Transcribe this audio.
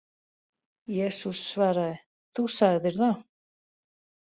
Jesús svaraði: Þú sagðir það